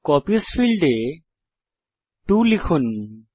copies ফীল্ডে 2 লিখুন